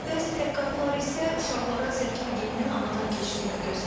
Bəzi təhqiqatlar isə uşaqlara zəka geninin anadan keçdiyini göstərir.